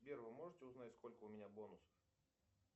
сбер вы можете узнать сколько у меня бонусов